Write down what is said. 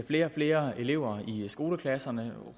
flere og flere elever i skoleklasserne